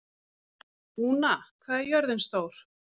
Úna, hvað er jörðin stór?